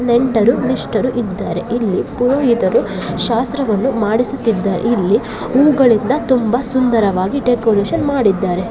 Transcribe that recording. ನೆಂಟರು ಇಷ್ಟರು ಇದ್ದಾರೆ ಇಲ್ಲಿ ಪುರೋಹಿತರು ಶಾಸ್ತ್ರವನ್ನು ಮಾಡಿಸುತ್ತಿದ್ದಾರೆ. ಇಲ್ಲಿ ಹೂಗಳಿಂದ ತುಂಬಾ ಸುಂದರವಾಗಿ ಡೆಕೋರೇಷನ್ ಮಾಡಿದ್ದಾರೆ.